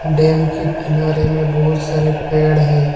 Dam के किनारे में बहोत सारे पेड़ है।